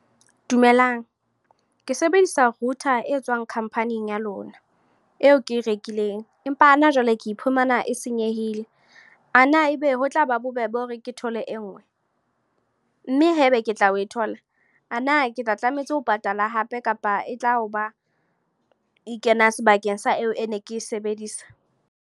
Dumelang. Ke sebedisa router e tswang khampaning ya lona, eo ke e rekileng. Empa hana jwale, ke iphumana e senyehile. A na ebe ho tlaba bobebe hore ke thole e nngwe? Mme haebe ke tla o thola. A na ke tla tlametse ho patala hape? Kapa e tla o ba, e kena sebakeng sa eo ke ne e sebedisa.